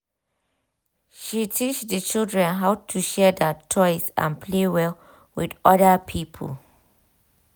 she teach the children how to share their toys and play well with other people.